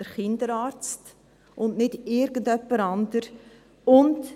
Der Kinderarzt, und nicht irgendjemand anderes.